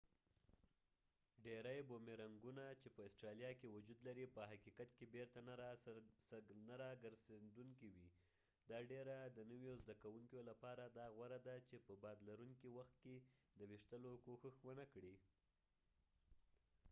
ډیری بومیرنګونه چې په استرالیا کې وجود لري په حقیقت کې بیرته نه راګرڅیدونکي وي دا ډیره د نویو زده کوونکیو لپاره دا غوره ده چې په باد لرونکي وخت کې د ویشتلو کوښښ ونکړي